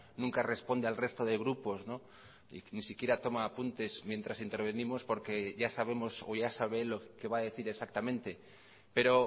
nunca responde al resto de grupos y ni siquiera toma apuntes mientras intervenimos porque ya sabemos o ya sabe él lo que va a decir exactamente pero